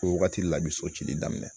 O wagati la i bi so cili daminɛ